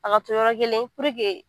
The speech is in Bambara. A ka to yɔrɔ kelɛn